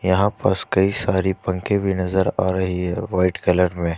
यहां पास कई सारे पंखे भी नजर आ रही है वाइट कलर मे।